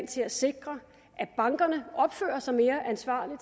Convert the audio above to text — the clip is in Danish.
til at sikre at bankerne opfører sig mere ansvarligt